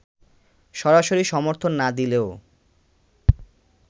সরাসরি সমর্থন না দিলেও